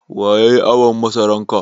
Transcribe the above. Waya yayi awon masaran ga?